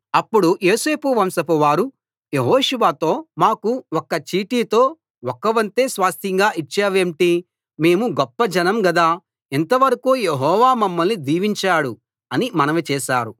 అప్పుడు యోసేపు వంశంవారు యెహోషువతో మాకు ఒక్క చీటితో ఒక్క వంతే స్వాస్థ్యంగా ఇచ్చావేంటి మేము గొప్ప జనం గదా ఇంతవరకూ యెహోవా మమ్మల్ని దీవించాడు అని మనవి చేశారు